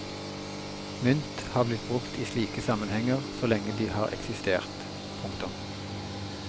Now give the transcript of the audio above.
Mynt har blitt brukt i slike sammenhenger så lenge de har eksistert. punktum